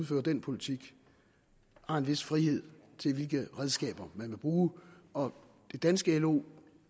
føre den politik har en vis frihed til hvilke redskaber man vil bruge og det danske lo